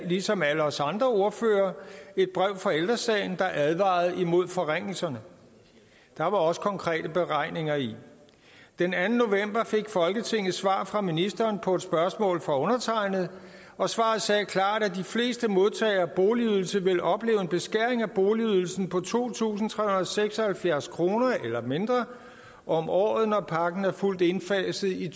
ligesom alle os andre ordførere et brev fra ældre sagen der advarede imod forringelserne der var også konkrete beregninger i den anden november fik folketinget svar fra ministeren på et spørgsmål fra undertegnede og svaret sagde klart at de fleste modtagere af boligydelse vil opleve en beskæring af boligydelsen på to tusind tre hundrede og seks og halvfjerds kroner eller mindre om året når pakken er fuldt indfaset i